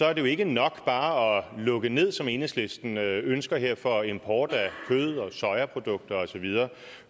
er det jo ikke nok bare at lukke ned som enhedslisten ønsker her for import af kød sojaprodukter og så videre